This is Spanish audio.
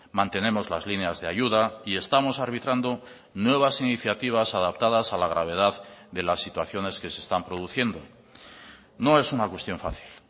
mantenemos las líneas de ayuda y estamos arbitrando nuevas iniciativas adaptadas a la gravedad de las situaciones que se están produciendo no es una cuestión fácil